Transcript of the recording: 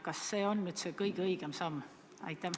Kas see on kõige õigem samm?